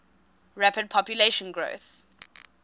rapid population growth